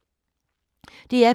DR P2